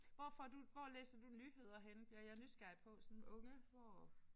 Hvor får du hvor læser du nyheder henne bliver jeg nysgerrig på sådan unge hvor